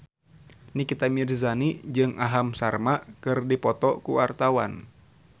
Nikita Mirzani jeung Aham Sharma keur dipoto ku wartawan